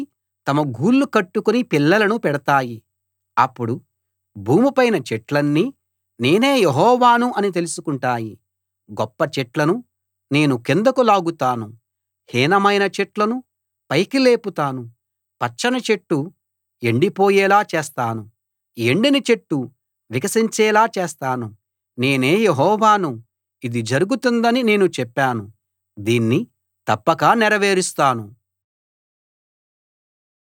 అప్పుడు భూమిపైన చెట్లన్నీ నేనే యెహోవాను అని తెలుసుకుంటాయి గొప్ప చెట్లను నేను కిందకు లాగుతాను హీనమైన చెట్లను పైకి లేపుతాను పచ్చని చెట్టు ఎండిపోయేలా చేస్తాను ఎండిన చెట్టు వికసించేలా చేస్తాను నేనే యెహోవాను ఇది జరుగుతుందని నేను చెప్పాను దీన్ని తప్పక నెరవేరుస్తాను